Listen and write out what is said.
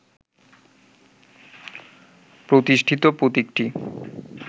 প্রতিষ্ঠিত প্রতীকটি